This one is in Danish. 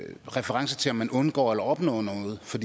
reference til om man undgår eller opnår noget for